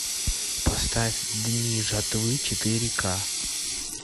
поставь дни жатвы четыре к